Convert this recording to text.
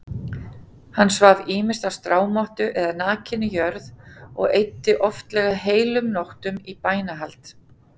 Hann svaf ýmist á strámottu eða nakinni jörð og eyddi oftlega heilum nóttum í bænahald.